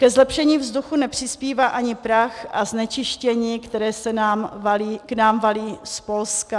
Ke zlepšení vzduchu nepřispívá ani prach a znečištění, které se k nám valí z Polska.